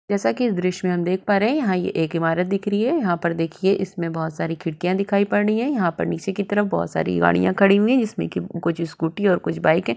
जैसा की इस दृश्य में हम देख पा रहे है यहाँ ये एक ईमारत दिख रही है यहाँ पर देखिये इसमें बहुत सारी खिड़कियाँ दिखाई पड़ रही है यहाँ पर नीचे की तरफ बहुत सारी गाड़िया खड़ी हुई है जिसमे की कुछ स्कूटी और कुछ बाइक है।